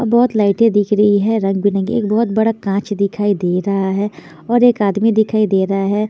अ बहोत लाइटे दिख रही है रंग बिरंगी एक बहोत बड़ा कांच दिखाई दे रहा है और एक आदमी दिखाई दे रहा है।